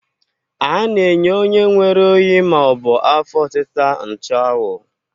A na-enye onye nwere oyi ma ọ bụ afọ ọtịta nchụawụ.